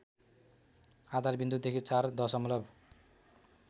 आधारविन्दुदेखि ४ दशमलव